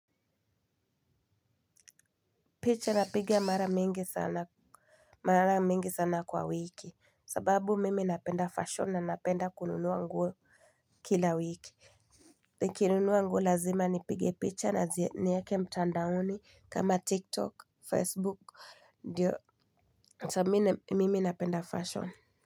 Picha napiga mara mingi sana kwa wiki sababu mimi napenda fashion na napenda kununua nguo kila wiki. Nikinunua nguo lazima nipige picha na zi nieke mtandaoni kama tiktok facebook ndio Chamine mimi napenda fashion.